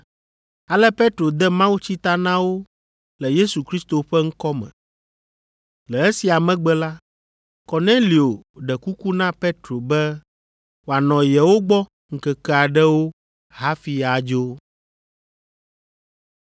Ale Petro de mawutsi ta na wo le Yesu Kristo ƒe ŋkɔ me. Le esia megbe la, Kornelio ɖe kuku na Petro be wòanɔ yewo gbɔ ŋkeke aɖewo hafi adzo.